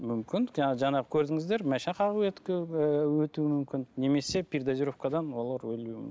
мүмкін жаңағы көрдіңіздер мүмкін немесе передозировкадан олар өлуі